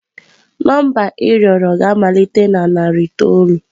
Nọmba ị rịọrọ ga-amalite na narị itoolu.